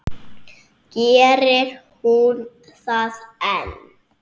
Gerir hún það enn?